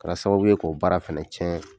Kɛra sababu ye k'o baara fɛnɛ cɛn.